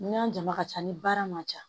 Ni y'an jama ka ca ni baara ma ja